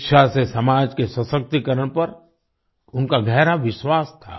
शिक्षा से समाज के सशक्तिकरण पर उनका गहरा विश्वास था